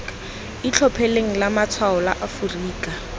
itlhophileng la matshwao la aforika